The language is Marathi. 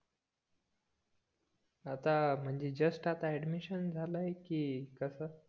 आता म्हणजे जस्ट आता ऍडमिशन झाला आहे कि कस